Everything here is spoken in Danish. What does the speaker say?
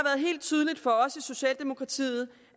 helt tydeligt for os i socialdemokratiet